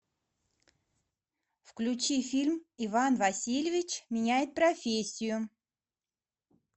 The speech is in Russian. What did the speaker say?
включи фильм иван васильевич меняет профессию